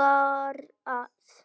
garð